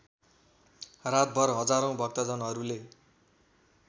रातभर हजारौँ भक्तजनहरूले